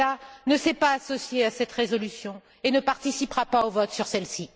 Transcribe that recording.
Preda, ne s'est pas associé à cette résolution et ne participera pas au vote sur celle ci.